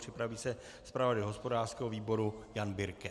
Připraví se zpravodaj hospodářského výboru Jan Birke.